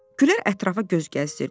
Gülər ətrafa göz gəzdirdi.